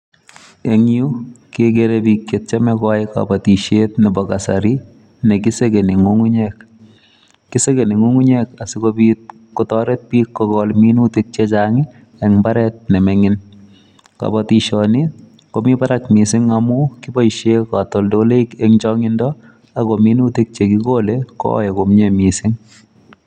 Eng yu kegere biik chetieme koyai kobotishiet Nebo kasari, nekisegeni ngungunyek. Kisegeni ngungunyek asikobiit kotoret bik kogol minutik chechang en mbaret nemingiin. Kobotishionii komi barak missing amun kiboishien katoltoleiwek eng chongindo ako minuutik che kigole koyoe komie en chongindoo.